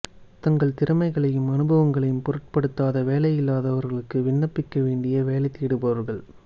தங்கள் திறமைகளையும் அனுபவங்களையும் பொருட்படுத்தாத வேலையில்லாதவர்களுக்கு விண்ணப்பிக்க வேண்டிய வேலை தேடுபவர்கள்